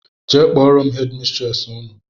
Jee kpọrọ m headi mistresi Ụnụ!!!